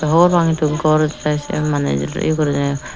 hobor pang hintu gor de sien maney iyo guriney.